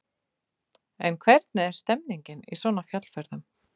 En hvernig er stemningin í svona fjallferðum?